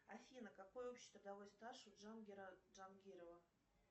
афина какой общий трудовой стаж у джангира джангирова